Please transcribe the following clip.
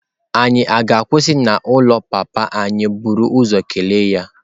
Ànyị ga-akwụsị n'ụlọ papa anyị buru ụzọ kelee ya?